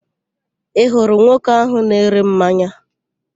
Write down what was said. Ị hụrụ nwoke ahụ na-ere mmanya?